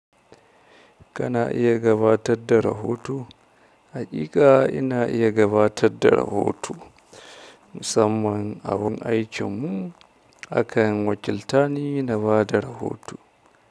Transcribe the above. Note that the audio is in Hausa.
Kana iya gabatar da rahoto? Haƙiƙa ina iya gabatar da rahoto. Musamman a wurin aikinmu akan wakiltani na bada rahoto.